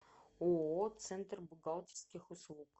ооо центр бухгалтерских услуг